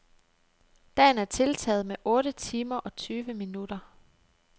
Dagen er tiltaget med otte timer og tyve minutter.